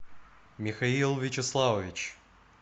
михаил вячеславович